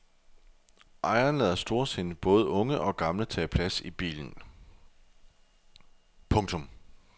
Ejeren lader storsindet både unge og gamle tage plads i bilen. punktum